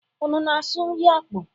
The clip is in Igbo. Unu na-asụ nri akpụ